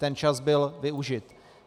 Ten čas byl využit.